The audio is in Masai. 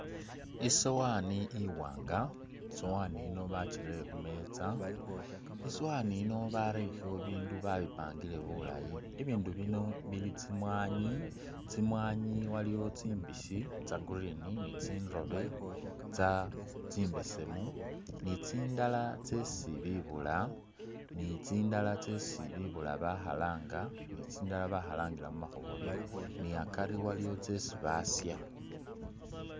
Isowani iwanga, isowani yino bachirele khumeza isowani yino barerekho bindu babipangile bulaayi ibindu bino ili tsimwani , tsimwani waliwo tsimbisi tsa'green, nitsindobe tsa tsimbesemu nitsindala tsesi bibula nitsindala tsesi bibula bakhalanga tsitsindi bakhalangila mumakhobolyo ni'akari tsiliwo tsesi basha